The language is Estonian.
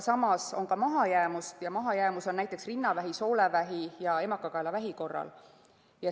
Samas on ka mahajäämust ja mahajäämus on näiteks rinnavähi, soolevähi ja emakakaelavähi korral.